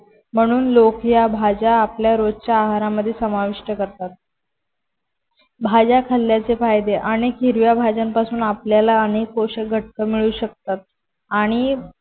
म्हणून लोक या भाज्या आपल्या रोजच्या आहारामध्ये समाविष्ट करतात. भाज्या खाल्ल्याचे फायदे अनेक हिरव्या भाज्यांचा पासून आपल्याला अनेक पोषक घटक मिळू शकतात. आणि